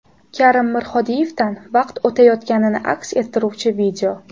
Karim Mirhodiyevdan vaqt o‘tayotganini aks ettiruvchi video.